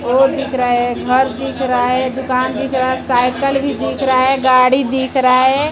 दिख रहा है घर दिख रहा है दुकान दिख रहा है साइकिल भी दिख रहा है गाड़ी दिख रहा है।